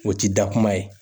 O ti dakuma ye